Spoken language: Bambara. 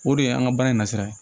O de ye an ka baara in na sira ye